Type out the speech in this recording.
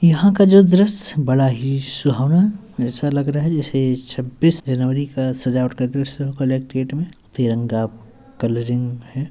यहाँ का जो दृश्य बड़ा ही सुवहाना ऐसा लग रहा जैसे छब्बीस जनवरी का सजावट का दृश्य हो तिरंगा कलरिंग हैं।